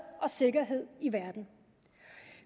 og sikkerhed i verden